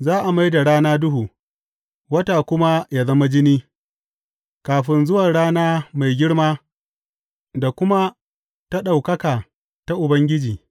Za a mai da rana duhu, wata kuma ya zama jini, kafin zuwa rana mai girma da kuma ta ɗaukaka ta Ubangiji.